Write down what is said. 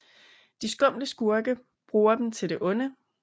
De skumle skurke bruge dem til det onde